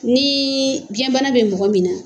Ni biyɛnbana bɛ mɔgɔ min na.